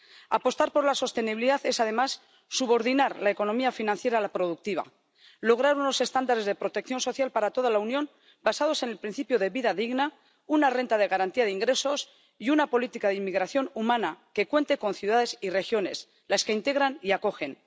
Apostar por la sostenibilidad es, además, subordinar la economía financiera a la productiva, lograr unos estándares de protección social para toda la Unión basados en el principio de vida digna, una renta de garantía de ingresos y una política de inmigración humana que cuente con ciudades y regiones, las que integran y acogen.